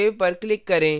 save पर click करें